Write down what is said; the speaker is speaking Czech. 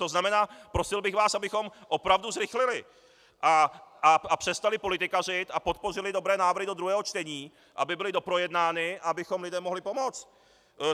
To znamená, prosil bych vás, abychom opravdu zrychlili a přestali politikařit a podpořili dobré návrhy do druhého čtení, aby byly doprojednány a abychom lidem mohli pomoct.